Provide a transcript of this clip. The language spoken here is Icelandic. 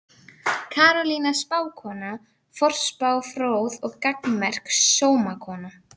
Karolína spákona, forspá fróð og gagnmerk sómakona.